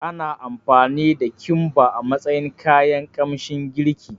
Ana amfani da Kimba a matsayin kayan kamshin girki